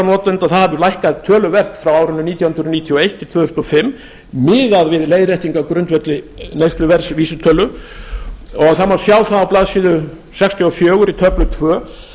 það hefur lækkar töluvert frá árinu nítján hundruð níutíu og eitt til tvö þúsund og fimm miðað við leiðréttingu á grundvelli neysluverðs vísitölu það má sjá það á blaðsíðu sextíu og fjögur í töflu tvö